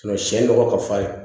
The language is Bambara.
siyɛn nɔgɔ ka falen